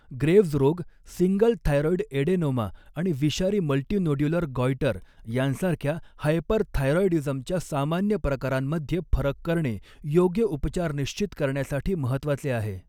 Graves रोग, single thyroid adenoma आणि विषारी मल्टीनोड्युलर गॉइटर यांसारख्या हायपरथायरॉईडीझमच्या सामान्य प्रकारांमध्ये फरक करणे योग्य उपचार निश्चित करण्यासाठी महत्वाचे आहे.